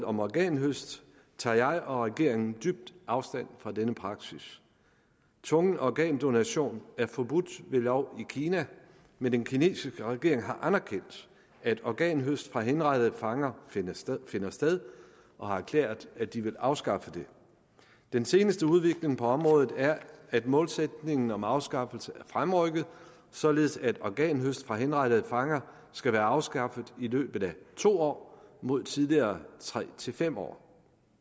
om organhøst tager jeg og regeringen dybt afstand fra denne praksis tvungen organdonation er forbudt ved lov i kina men den kinesiske regering har anerkendt at organhøst fra henrettede fanger finder sted finder sted og har erklæret at de vil afskaffe det den seneste udvikling på området er at målsætningen om afskaffelse er fremrykket således at organhøst fra henrettede fanger skal være afskaffet i løbet af to år mod tidligere tre fem år